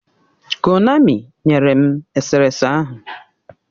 Konami nyere m eserese ahụ.